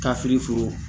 Ka firi foro